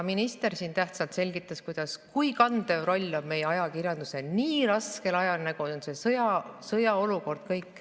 Minister siin tähtsalt selgitas, kui kandev roll on meie ajakirjandusel nii raskel ajal, nagu on sõjaolukord.